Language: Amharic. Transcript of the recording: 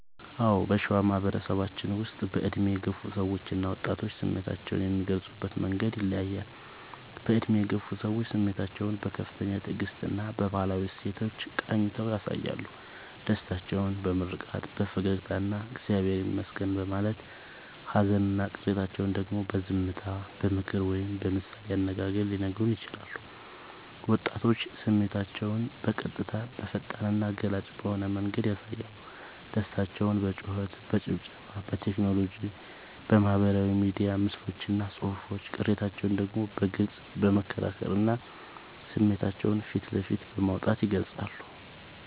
አዎ: በሸዋ ማህበረሰባችን ውስጥ በዕድሜ የገፉ ሰዎችና ወጣቶች ስሜታቸውን የሚገልጹበት መንገድ ይለያያል፦ በዕድሜ የገፉ ሰዎች፦ ስሜታቸውን በከፍተኛ ትዕግስትና በባህላዊ እሴቶች ቃኝተው ያሳያሉ። ደስታቸውን በምርቃት፣ በፈገግታና «እግዚአብሔር ይመስገን» በማለት: ሃዘንና ቅሬታቸውን ደግሞ በዝምታ: በምክር ወይም በምሳሌ አነጋገር ሊነግሩን ይችላሉ። ወጣቶች፦ ስሜታቸውን በቀጥታ: በፈጣንና ገላጭ በሆነ መንገድ ያሳያሉ። ደስታቸውን በጩኸት: በጭብጨባ: በቴክኖሎጂ (በማህበራዊ ሚዲያ ምስሎችና ጽሑፎች): ቅሬታቸውን ደግሞ በግልጽ በመከራከርና ስሜታቸውን ፊት ለፊት በማውጣት ይገልጻሉ።